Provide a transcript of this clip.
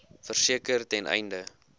verseker ten einde